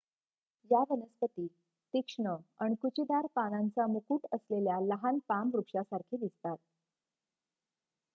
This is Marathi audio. या वनस्पती तीक्ष्ण अणकुचीदार पानांचा मुकुट असलेल्या लहान पाम वृक्षासारखी दिसतात